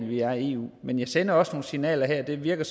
vi er i eu men jeg sender også signaler her det virker